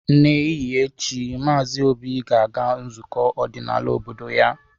N'ehihie echi, Maazị Obi ga-aga nzukọ ọdịnala obodo ya.